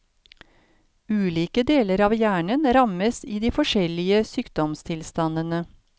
Ulike deler av hjernen rammes i de forskjellige sykdomstilstandene.